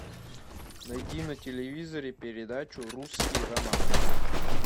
найди на телевизоре передачу русский роман